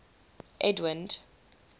edwind